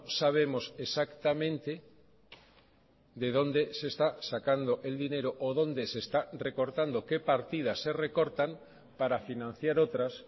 sabemos exactamente de dónde se está sacando el dinero o dónde se está recortando qué partidas se recortan para financiar otras